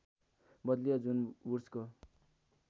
बदलियो जुन वुड्सको